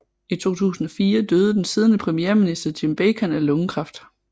I 2004 døde den siddende premierminister Jim Bacon af lungekræft